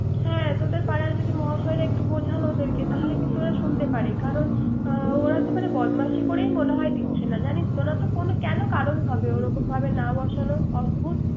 হ্যা তোদের পাড়ার মহাশয়রা একটু বোঝান ওদের কে তাহলে কিন্তু ওরা একটু শানতেপারে। করান ওরা তো মনে হয় বদমাশি করেই মনে হয় দিচ্ছে না। জানিস্ তো ওরা কেন করান হবে ওরকমভাবে না বাসানোর। অদ্ভদ